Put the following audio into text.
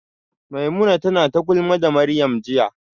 Maimuna tana ta gulma da Maryam jiya